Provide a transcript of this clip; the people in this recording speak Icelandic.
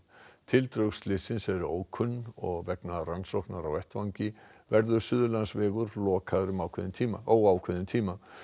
tildrög slyssins eru ókunn og vegna rannsóknar á vettvangi verður Suðurlandsvegur lokaður um óákveðinn tíma óákveðinn tíma